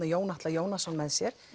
Jón Atla Jónasson með sér